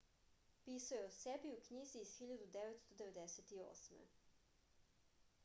pisao je o sebi u knjizi iz 1998